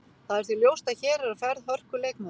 Það er því ljóst að hér er á ferð hörku leikmaður.